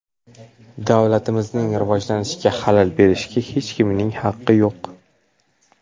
Davlatimizning rivojlanishiga xalal berishga hech kimning haqi yo‘q!